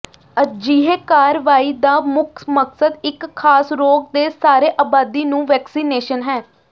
ਅਜਿਹੇ ਕਾਰਵਾਈ ਦਾ ਮੁੱਖ ਮਕਸਦ ਇੱਕ ਖਾਸ ਰੋਗ ਦੇ ਸਾਰੇ ਆਬਾਦੀ ਨੂੰ ਵੈਕਸੀਨੇਸ਼ਨ ਹੈ